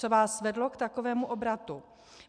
Co vás vedlo k takovému obratu?